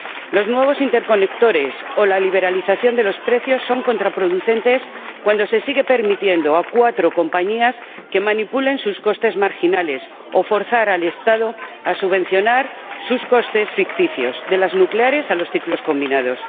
Los nuevos interconectores o la liberalización de los precios son contraproducentes cuando se sigue permitiendo a cuatro compañías manipular sus costes marginales o forzar al Estado a subvencionar sus costes ficticios, de las nucleares a los ciclos combinados.